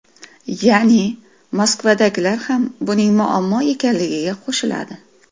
Ya’ni Moskvadagilar ham buning muammo ekanligiga qo‘shiladi”.